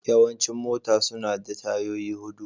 Yawancin mota suna da tayoyi hudu.